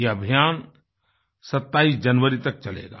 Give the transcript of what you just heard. ये अभियान 27 जनवरी तक चलेगा